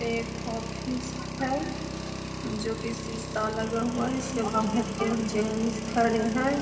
एक ऑफिस है जो की सीसा लगा हुआ है | इसके बाहर तीन जेंट्स खड़े हैं |